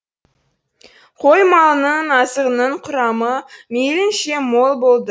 қой малының азығының құрамы мейілінше мол болды